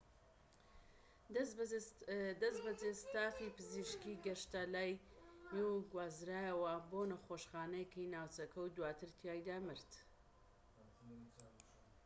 دەستبەجێ ستافی پزیشکیی گەشتنە لای و گوازرایەوە بۆ نەخۆشخانەیەکی ناوچەکە و دواتر تیایدا مرد